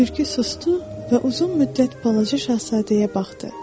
Tülkü susdu və uzun müddət balaca şahzadəyə baxdı.